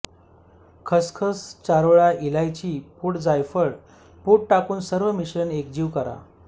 खसखस चारोळ्या इलायची पूड जायफळ पूड टाकून सर्व मिश्रण एकजीव करा